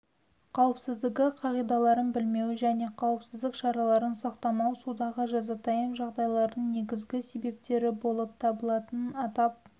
қауіпсіздігі қағидаларын білмеу және қауіпсіздік шараларын сақтамау судағы жазатайым жағдайлардың негізі себептері болып табылатынын атап